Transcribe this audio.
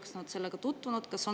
Kas nad on sellega tutvunud?